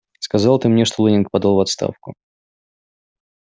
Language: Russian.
сказал ты мне что лэннинг подал в отставку